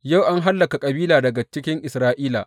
Yau an hallaka kabila daga cikin Isra’ila.